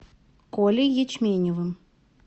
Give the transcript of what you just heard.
колей ячменевым